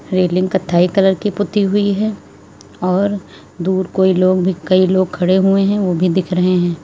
Railing कत्थई colour की पुती हुई है और दूर कोई लोग भी कई लोग खड़े हुए हैं ओ भी दिख रहे हैं।